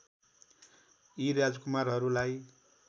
यी राजकुमारहरूलाई